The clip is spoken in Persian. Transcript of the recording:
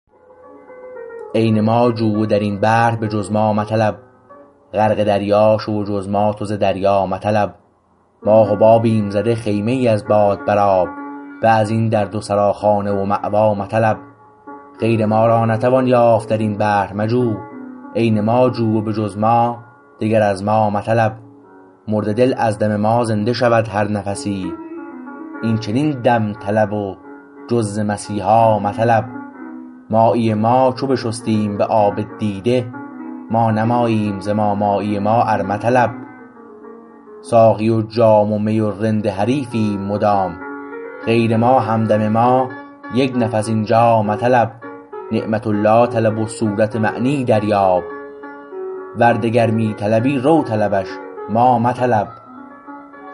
عین ما جو و در این بحر به جز ما مطلب غرق دریا شو و جز ما تو ز دریا مطلب ما حبابیم زده خیمه ای از باد بر آب به از این در دو سراخانه و مأوا مطلب غیر ما را نتوان یافت در این بحر مجو عین ما جو و به جز ما دگر از ما مطلب مرده دل از دم ما زنده شود هر نفسی این چنین دم طلب و جز ز مسیحا مطلب مایی ما چو بشستیم به آب دیده ما نه ماییم ز ما مایی ما ار مطلب ساقی و جام و می و رند حریفیم مدام غیر ما همدم ما یک نفس اینجا مطلب نعمت الله طلب و صورت و معنی دریاب ور دگر می طلبی رو طلبش ما مطلب